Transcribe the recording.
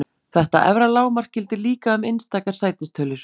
Þetta efra lágmark gildir líka um einstakar sætistölur.